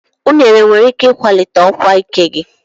Unere nwere ike ịkwalite ọkwa ike gị.